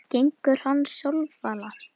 Gengur hann sjálfala?